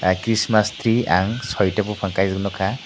christmas tree ang chaita buphang kaijak nukha.